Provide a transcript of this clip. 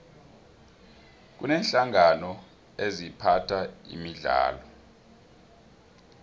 kuneenhlangano eziphatha imidlalo